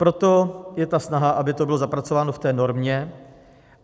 Proto je ta snaha, aby to bylo zapracováno v té normě.